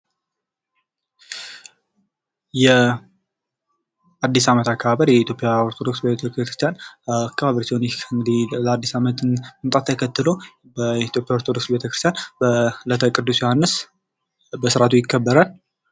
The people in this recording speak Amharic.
የአዲስ አመት አከባበር የኢትዮጵያ ኦርቶዶክስ ተዋሕዶ ቤተክርስቲያን አከባበር ሲሆን ይህ አዲስ አመት መምጣትን ተከትሎ በኢትዮጵያ ኦርቶዶክስ ቤተ ክርስቲያን በእለተ ቅዱስ ዮሀንስ በስርአቱ ይከበራል።